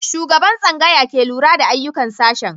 Shugaban tsangaya ke lura da ayyukan sashen.